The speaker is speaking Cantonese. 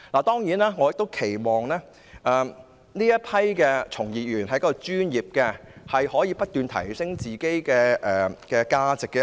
當然，我亦期望從業員是專業的，可以不斷提升自己的價值。